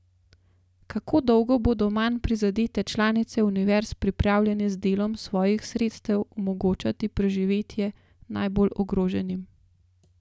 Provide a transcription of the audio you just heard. Kako dolgo bodo manj prizadete članice univerz pripravljene z delom svojih sredstev omogočati preživetje najbolj ogroženim?